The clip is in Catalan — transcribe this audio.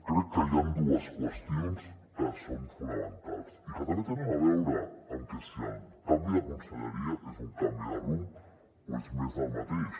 crec que hi han dues qüestions que són fonamentals i que també tenen a veure amb si el canvi de conselleria és un canvi de rumb o és més del mateix